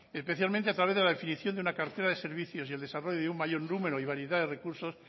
especialmente a través de la definición de una cartera de servicios y el desarrollo de un mayor número y variedad de recursos